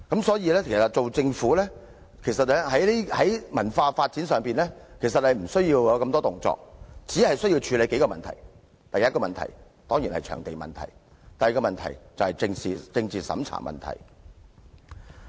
其實，政府在文化發展上根本無需太多動作，只需處理數項問題，第一當然是場地問題，第二則是政治審查問題。